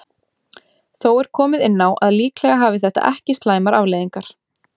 Þó er komið inn á að líklega hafi þetta ekki slæmar afleiðingar.